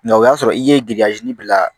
o y'a sɔrɔ i ye bila